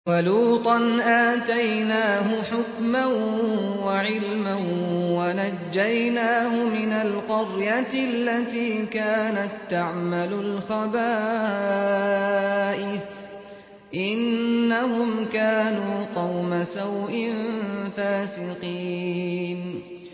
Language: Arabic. وَلُوطًا آتَيْنَاهُ حُكْمًا وَعِلْمًا وَنَجَّيْنَاهُ مِنَ الْقَرْيَةِ الَّتِي كَانَت تَّعْمَلُ الْخَبَائِثَ ۗ إِنَّهُمْ كَانُوا قَوْمَ سَوْءٍ فَاسِقِينَ